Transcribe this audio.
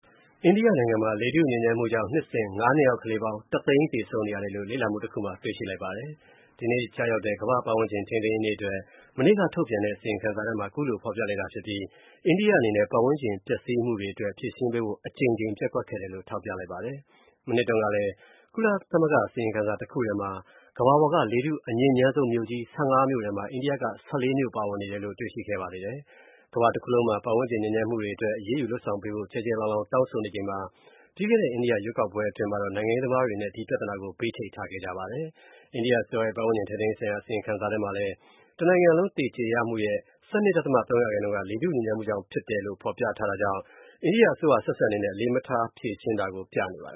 အိန္ဒိယ နိုင်ငံမှာ လေထုညစ်ညမ်းမူကြောင့် နှစ်စဉ် (၅) နှစ်အောက် ကလေးပါင်း (၁) သိန်း သေဆုံးနေရတယ်လို့ လေ့လာမူ တစ်ခုမှာ တွေ့ရှိလိုက်ပါတယ်။ ဒီနေ့ကျရောက်တဲ့ ကမ္ဘာ့ ပတ်ဝန်းကျင် ထိန်းသိမ်းရေးနေ့ အတွက် မနေ့က ထုတ်ပြန်တဲ့ အစီရင်ခံစာထဲမှာ ခုလိုဖော်ပြလိုက်တာဖြစ်ပြီးအိန္ဒိယ အနေနဲ့ ပတ်ဝန်းကျင် ပျက်စီးမူတွေ အတွက် ဖြေရှင်းပေးဖို့ အကြိမ်ကြိမ် ပျက်ကွက်ခဲ့တယ်လို့ ထောက်ပြလိုက်ပါတယ်။ မနှစ်တုန်း ကလည်း ကုလသမဂ္ဂ အစီရင်ခံစာ တစ်ခုထဲမှာ ကမ္ဘာပေါ်က လေထုအညစ်ညမ်းဆုံး မြို.ကြီး (၁၅) မြို.ထဲမှာ အန္ဒိယက (၁၄) မြို့ ပါဝင်နေတယ်လို့ တွေ့ရှိခဲ့ပါသေးတယ်။ ကမ္ဘာတစ်ခုလုံးမှာ ပတ်ဝန်းကျင် ညစ်ညမ်းမှုတွေအတွက် အရေးယူ လုပ်ဆောင်ပေးဖို့ ကျယ်ကျယ်လောင်လောင် တောင်းဆိုနေချိန်မှာ ပြီးခဲ့ အိန္ဒိယ ရွေးကောက်ပွဲ အတွင်းမှာတော့ နိုင်ငံရေးသမားတွေ အနေနဲ့ ဒီပြဿနာကို ဘေးချိတ်ထားခဲ့ကြပါတယ်။ အိန္ဒိယ အစိုးရရဲ့ ပတ်ဝန်းကျင် ထိန်းသိမ်းရေးဆိုင်ရာ အစီရင်ခံစာထဲမှာလည်း တနိုင်ငံလုံးသေဆုံးရမှုရဲ့ ၁၂ ဒသမ ၃ ရာခိုင်နှုန်းက လေထူညစ်ညမ်းမှုကြောင့် ဖြစ်တယ်လို့ ဖော်ပြထားတာကြောင့် အစိုးရ အဆက်ဆက် အနေနဲ့ အလေးထား မဖြေရှင်းတာကို ပြသနေပါတ